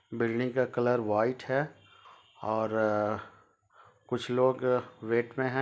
Building का colour white है और कुछ लोग वेट में है।